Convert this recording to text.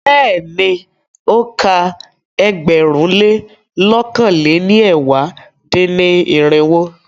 Bẹ́ẹ̀ni, o ka ẹgbẹ̀rún lé lọ̀kan lé ní ẹ̀wá dín-ní-irinwó.